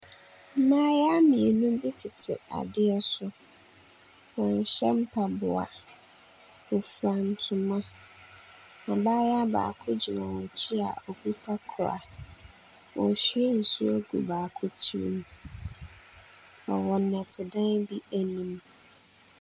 Mmaayewa mmienu bi tete adeɛ so. Wɔnhyɛ mpaboa. Wɔfira ntoma. Abaayewa baako gyina wɔn akyi a ɔkuta koraa, na ɔrehwie nsuo agu baako tirim. Na wɔwɔ nnɛtedan bi anim.